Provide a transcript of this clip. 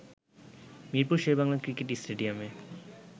Mirpur Sher-e-Bangla cricket স্টেডিয়ামে